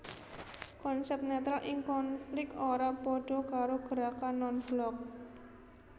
Konsep netral ing konflik ora padha karo gerakan non blok